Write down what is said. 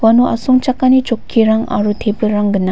iano asongchakani chokkirang aro tebilrang gnang.